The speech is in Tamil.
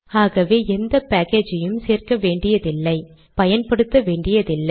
ஆகவே எந்த பேக்கேஜையும் சேர்க்க வேண்டியதில்லை பயன்படுத்த வேண்டியதில்லை